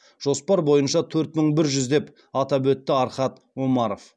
жоспар бойынша төрт мың бір жүз деп атап өтті архат омаров